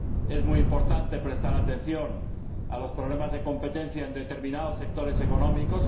Es muy importante prestar atención a los problemas de competencia en determinados sectores económicos